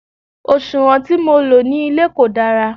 òṣùwọ̀n tí mo lò ní ilé kò dára